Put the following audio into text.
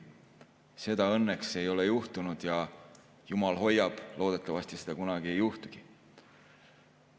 Seda õnneks ei ole juhtunud ja jumal hoiab, et loodetavasti seda kunagi ei juhtugi.